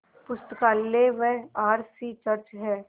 पुस्तकालय व R C church हैं